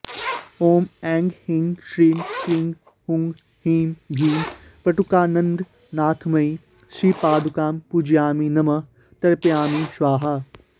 ॐ ऐं ह्रीं श्रीं क्रीं हूं ह्रीं भीम वटुकानन्दनाथमयी श्रीपादुकां पूजयामि नमः तर्पयामि स्वाहा